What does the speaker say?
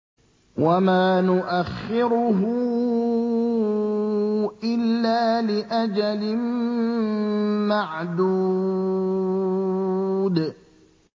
وَمَا نُؤَخِّرُهُ إِلَّا لِأَجَلٍ مَّعْدُودٍ